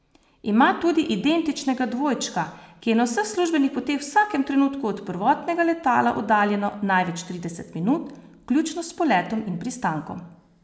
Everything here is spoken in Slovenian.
Ima tudi identičnega dvojčka, ki je na vseh službenih poteh v vsakem trenutku od prvotnega letala oddaljeno največ trideset minut, vključno s poletom in pristankom.